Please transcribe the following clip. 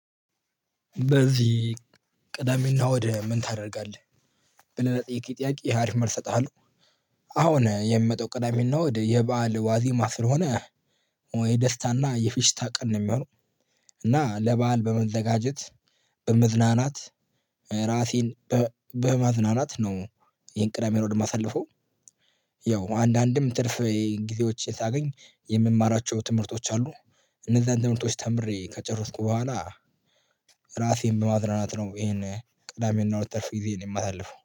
በዚህ ቅዳሜና እና እሁድ ምን ታደርጋለህ? ብለህ ለጠየከኝ ጥያቄ አሪፍ መልሰ እጥሃለሁ። አሁን የሚመጣው ቅዳሜ እና እሁድ የበአል ዋዜማ ስለሆነ ወይ ደስታና የፊሽታ ቀን ነው የሚሆነው። እና ለበአል በመዘጋጀት በመዝናናት ራሴን በማዝናናት ነው። ይሄን ቅዳሜ እና እሁድ የማሳልፈው። ያው አንዳንድም ትርፍ ጊዜዎች የሳገኝ የምማራቸው ትምህርቶች አሉ። እነዛን ትምህርቶች ተምሬ ከጨረስኩ በኋላ። ራሴን በማዝናናት ነው ይሄን ቅዳሜ እና እሁድ ትርፍ ጊዜየን የማሳልፈው